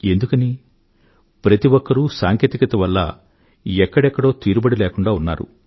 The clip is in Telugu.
ఎందుకని ప్రతి ఒక్కరూ సాంకేతికత వల్ల మరెక్కడో తీరుబడి లేకుండా ఉన్నారు